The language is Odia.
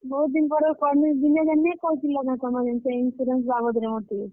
ବହୁତ୍ ଦିନ୍ ପରେ କଲି, ଦିନେ ଜେନ୍ ନି କହିଥିଲ କେଁ ତମେ ଜେନ୍ ସେ insurance ବାବଦ୍ ରେ ମତେ।